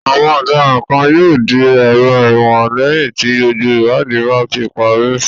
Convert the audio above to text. Àwọn ọ̀daràn kan yóò di èrò ẹ̀wọ̀n lẹ́yìn tí gbogbo ìwádìí bá ti parí.